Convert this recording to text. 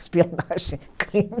Espionagem, crime.